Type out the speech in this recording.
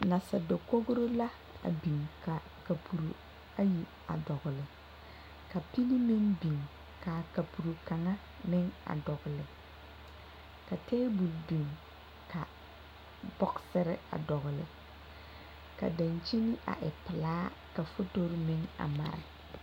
Nasadakogro la a biŋ ka kapuro ayi a dɔgle ka pili meŋ biŋ k,a kapuro kaŋa meŋ dɔgle ka tabol biŋ ka bɔgsere a dɔgle ka dankyini a e pelaa ka fotori meŋ a mare.